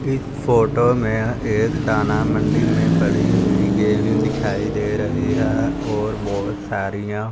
इस फोटो में एक दाना मंडी में पड़ी हुई गेहूं दिखाई दे रही है और बहोत सारीयां--